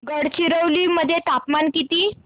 गडचिरोली मध्ये तापमान किती